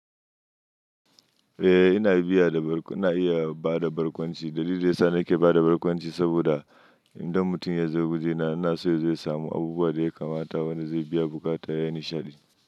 Eh ina iya bada barkwanci. Dalilin da ya sa nake bada barkwanci saboda idan mutum ya zo waje na, ina so ya samu abubuwan da ya kamata wanda zai biya buƙata yayi nishaɗi.